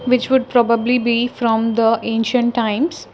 which would probably be from the ancient times.